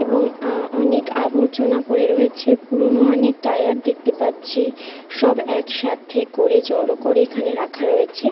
এবং অনেক আবর্জনা পড়ে রয়েছে পুরনো অনেক টায়ার দেখতে পাচ্ছি সব একসাথে করে জড়ো করে এখানে রাখা রয়েছে ।